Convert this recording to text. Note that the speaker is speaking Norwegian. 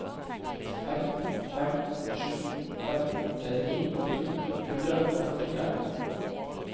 fem fem sju fem trettini to hundre og førtitre